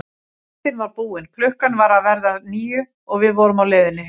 Myndin var búin, klukkan var að verða níu og við vorum á leiðinni heim.